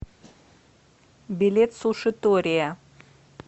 билет сушитория